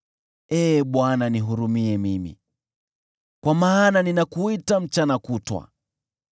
Ee Bwana , nihurumie mimi, kwa maana ninakuita mchana kutwa.